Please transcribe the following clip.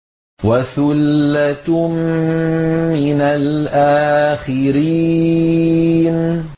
وَثُلَّةٌ مِّنَ الْآخِرِينَ